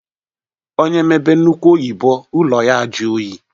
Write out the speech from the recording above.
Onye mebe nnukwu oyibo ụlọ ya ajụọ oyi.